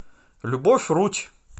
любовь рудь